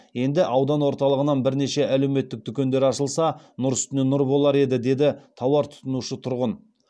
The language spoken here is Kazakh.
енді аудан орталығынан бірнеше әлеуметтік дүкендер ашылса нұр үстіне нұр болар еді деді тауар тұтынушы тұрғын